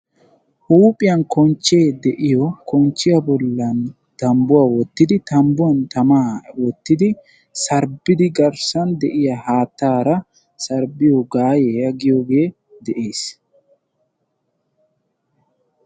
Huuphiyan konchee de'iyo konchiya bollan tambbuwa wottidi tambbuwan tamaa eettiidi sarbbidi garssan de'iya haattaara sarbbiyo gaayiya giyoogee de'ees.